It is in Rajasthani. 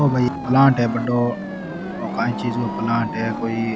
ओ भाई पप्लाट है ओ काई चीज का प्लाट है कोई --